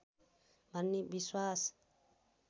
भन्ने विश्वास